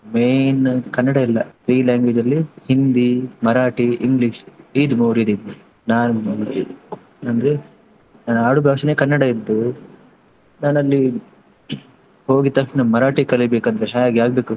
Main Kannada ಇಲ್ಲಾ three language ಅಲ್ಲಿ Hindi, Marathi, English ಇದು ಮೂರಿದ್ದಿದ್ದು ಅಂದ್ರೆ ನಾನು ಆಡು ಭಾಷೆ ಕನ್ನಡ ಇದ್ದು, ನಾನ್ ಅಲ್ಲಿ ಹೋದ ತಕ್ಷಣ ಮರಾಠಿ ಕಲಿಬೇಕು ಅಂದ್ರೆ ಹ್ಯಾಗೆ ಆಗ್ಬೇಕು?